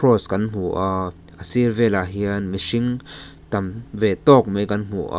cross kan hmu a a sir velah hian mihring tam ve tawk mai kan hmu a.